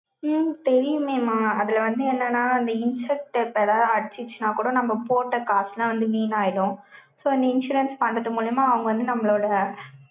உம் தெரியுமேமா? அதுல வந்து என்னன்னா, அந்த insect paper எதாவது அடிச்சுச்சுன்னா கூட, நம்ம போட்ட காசெல்லாம் வந்து வீணாயிடும். so, இந்த insurance பண்றது மூலியமா, அவங்க வந்து நம்மளோட,